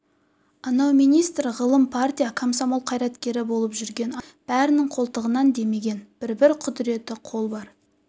анау министр ғылым партия-комсомол қайраткері болып жүрген апайлардың бәрінің қолтығынан демеген бір-бір құдыретті қол бар